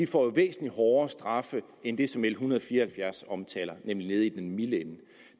får væsentlig hårdere straffe end det som l en hundrede og fire og halvfjerds omtaler nemlig det nede i den milde